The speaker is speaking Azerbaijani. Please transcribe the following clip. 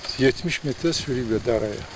70 metrə sürükləyiblər daraya.